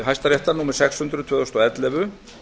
hæstaréttar númer sex hundruð tvö þúsund og ellefu